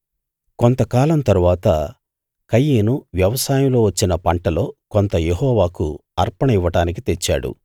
కొంతకాలం తరువాత కయీను వ్యవసాయంలో వచ్చిన పంటలో కొంత యెహోవాకు అర్పణ ఇవ్వడానికి తెచ్చాడు